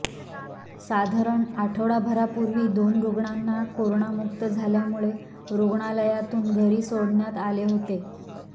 साधारण आठवडाभरापूर्वी दोन रुग्णांना कोरोनामुक्त झाल्यामुळे रुग्णालयातून घरी सोडण्यात आले होते